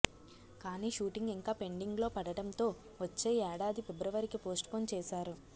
కానీ షూటింగ్ ఇంకా పెండింగ్ లో పడడంతో వచ్చే ఏడాది ఫిబ్రవరికి పోస్ట్ పోన్ చేశారు